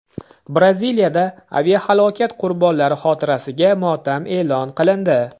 Braziliyada aviahalokat qurbonlari xotirasiga motam e’lon qilindi .